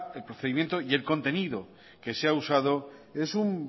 el procedimiento y el contenido que se ha usado es